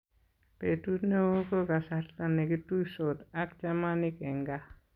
Betut ne oo ko kasarta ne kituisot ak chamanik eng kaa.